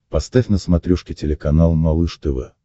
поставь на смотрешке телеканал малыш тв